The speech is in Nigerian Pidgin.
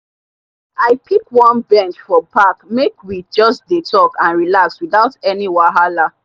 i pick one bench for park may we just dey talk and relax without any wahala.